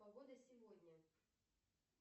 погода сегодня